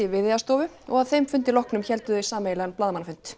Viðeyjarstofu og að þeim fundi loknum héldu þau sameiginlegan blaðamannafund